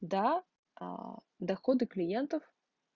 да аа доходы клиентов